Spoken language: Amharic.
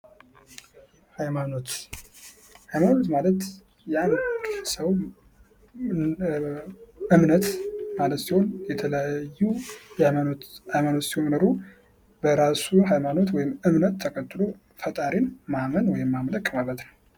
ሃይማኖት ፦ሃይማኖት ማለት የአንድ ሰው እምነት ማለት ሲሆን የተለያዩ ሃይማኖት ሲኖሩ በራሱ ሃይሞኖት ወይም እምነት ተከትሎ ፈጣን ማመን ወይም ማምለክ ማለት ነው።